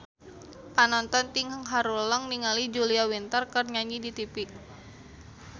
Panonton ting haruleng ningali Julia Winter keur nyanyi di tipi